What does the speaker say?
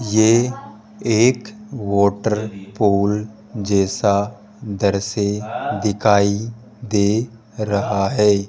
ये एक water pole जैसा दृश्य दिखाई दे रहा है।